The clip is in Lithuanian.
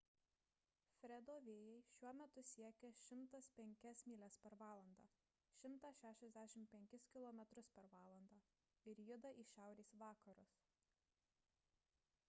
fredo vėjai šiuo metu siekia 105 mylias per valandą 165 km/val. ir juda į šiaurės vakarus